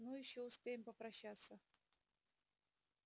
ну ещё успеем попрощаться